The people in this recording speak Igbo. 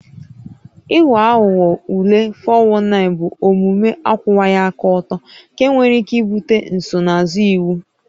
Ịghọ aghụghọ ule (419) bụ omume akwụwaghị aka ọtọ nke nwere ike ibute nsonaazụ iwu